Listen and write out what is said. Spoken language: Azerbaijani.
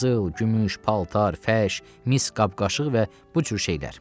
Qızıl, gümüş, paltar, fəş, mis qab-qaşıq və bu cür şeylər.